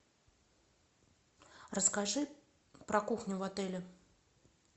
расскажи про кухню в отеле